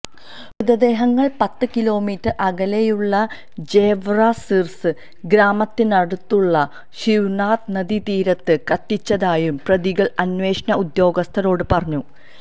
മൃതദേഹങ്ങള് പത്ത് കിലോമീറ്റര് അകലെയുള്ള ജെവ്ര സിര്സ ഗ്രാമത്തിനടുത്തുള്ള ശിവ്നാഥ് നദീതീരത്ത് കത്തിച്ചതായും പ്രതികള് അന്വേഷണ ഉദ്യോഗസ്ഥരോട് പറഞ്ഞു